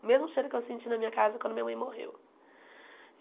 O mesmo cheiro que eu senti na minha casa quando minha mãe morreu.